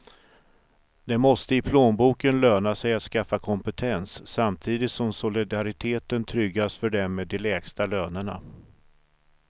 Det måste i plånboken löna sig att skaffa kompetens, samtidigt som solidariteten tryggas för dem med de lägsta lönerna.